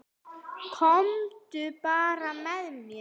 Komdu bara með mér.